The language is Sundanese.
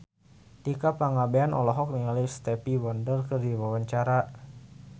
Tika Pangabean olohok ningali Stevie Wonder keur diwawancara